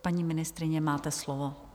Paní ministryně, máte slovo.